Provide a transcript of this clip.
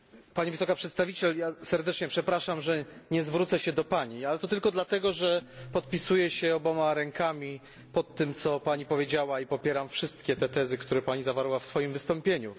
Pani Wysoka Przedstawiciel, serdecznie przepraszam, że nie zwrócę się do Pani, ale to tylko dlatego, że podpisuję się obiema rękami, pod tym, co Pani powiedziała i popieram wszystkie tezy, które zawarła Pani w swoim wystąpieniu.